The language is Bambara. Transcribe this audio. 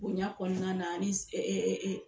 Bonya kɔnɔna na ani